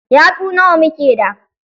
Yatsu nawa muke da?